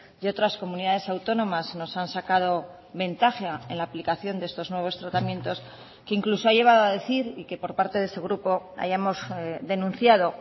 y otras comunidades autónomas nos han sacado ventaja en la aplicación de estos nuevos tratamientos que incluso ha llevado a decir y que por parte de ese grupo hayamos denunciado